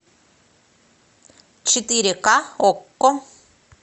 четыре ка окко